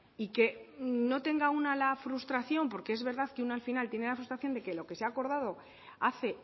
y que no tenga una la frustración porque es verdad de que una al final tiene la frustración de que lo que se ha acordado hace